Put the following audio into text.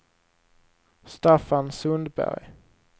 Staffan Sundberg